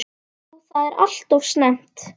Jú það var alltof snemmt.